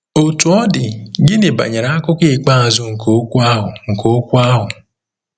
Otú ọ dị, gịnị banyere akụkụ ikpeazụ nke okwu ahụ nke okwu ahụ?